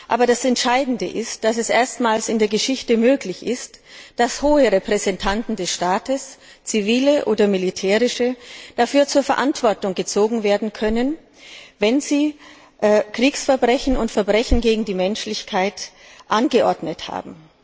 Aber das Entscheidende ist, dass es erstmals in der Geschichte möglich ist, hohe Repräsentanten des Staates zivile oder militärische dafür zur Verantwortung zu ziehen, wenn sie Kriegsverbrechen und Verbrechen gegen die Menschlichkeit angeordnet haben.